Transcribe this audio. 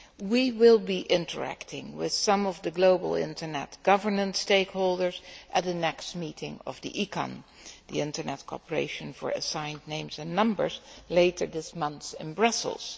We will be interacting with some of the global internet governance stakeholders at the next meeting of the Internet Corporation for Assigned Names and Numbers later this month in Brussels.